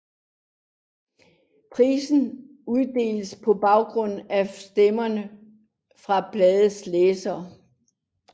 Prisen uddeles på baggrund af stemmer fra bladets læsere